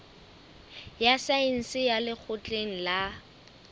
ya saense ya lekgotleng la